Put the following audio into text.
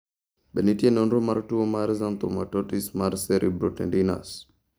Be nitie nonro mar tuwo mar xanthomatosis mar cerebrotendinous?